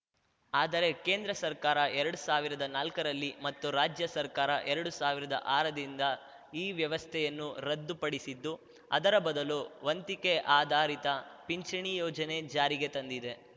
ಆದರೆ ಕೇಂದ್ರ ಸರ್ಕಾರ ಎರಡ್ ಸಾವಿರ್ದಾ ನಾಲ್ಕರಲ್ಲಿ ಮತ್ತು ರಾಜ್ಯ ಸರ್ಕಾರ ಎರಡು ಸಾವಿರ್ದಾ ಆರ ದಿಂದ ಈ ವ್ಯವಸ್ಥೆಯನ್ನು ರದ್ದು ಪಡಿಸಿದ್ದು ಅದರ ಬದಲು ವಂತಿಕೆ ಆಧಾರಿತ ಪಿಂಚಣಿ ಯೋಜನೆ ಜಾರಿಗೆ ತಂದಿದೆ